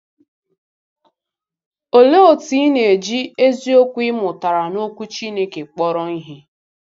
Olee otú ị na-eji eziokwu ị mụtara n’Okwu Chineke kpọrọ ihe?